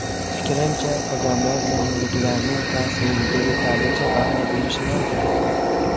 Fikrimcha, odamlar yangiliklarning ta’siriga yetarlicha baho berishmaydi”.